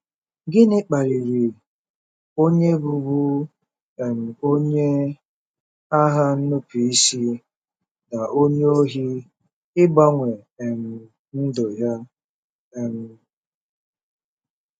GỊNỊ kpaliri onye bụbu um onye agha nnupụisi na onye ohi ịgbanwe um ndụ ya? um